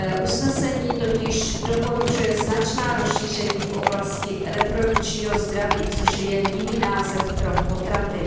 Usnesení totiž doporučuje značná rozšíření v oblasti reprodukčního zdraví, což je jen jiný název pro potraty.